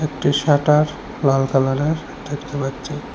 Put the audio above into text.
একটি শাটার লাল কালারের দেখতে পাচ্ছি।